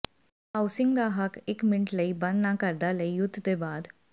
housing ਦਾ ਹੱਕ ਇੱਕ ਮਿੰਟ ਲਈ ਬੰਦ ਨਾ ਕਰਦਾ ਲਈ ਯੁੱਧ ਦੇ ਬਾਅਦ